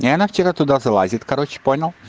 и она вчера туда залазит короче понял